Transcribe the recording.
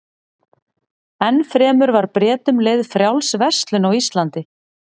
Enn fremur var Bretum leyfð frjáls verslun á Íslandi.